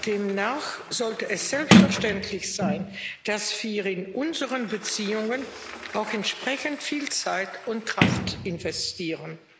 Demnach sollte es selbstverständlich sein, dass wir in unsere Beziehungen auch entsprechend viel Zeit und Kraft investieren.